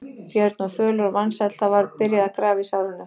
Björn var fölur og vansæll, það var byrjað að grafa í sárinu.